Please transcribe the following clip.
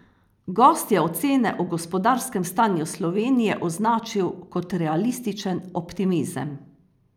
Gost je ocene o gospodarskem stanju Slovenije označil kot realističen optimizem.